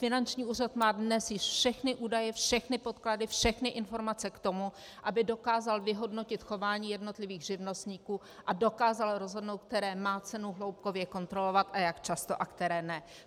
Finanční úřad má dnes již všechny údaje, všechny podklady, všechny informace k tomu, aby dokázal vyhodnotit chování jednotlivých živnostníků a dokázal rozhodnout, které má cenu hloubkově kontrolovat a jak často a které ne.